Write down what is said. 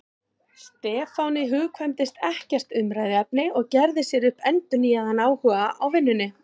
Stefáni hugkvæmdist ekkert umræðuefni og gerði sér upp endurnýjaðan áhuga á vinnunni.